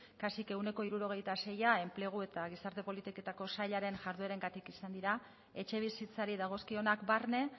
kasi ehuneko hirurogeita seia enplegu eta gizarte politiketako sailaren jarduerengatik izan dira etxebizitzari dagozkionak barne